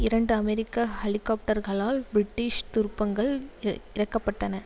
இரண்டு அமெரிக்க ஹெலிகாப்டர்களால் பிரிட்டிஷ் துருப்புங்கள் இறக்கப்பட்டன